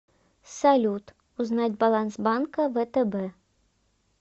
салют узнать баланс банка втб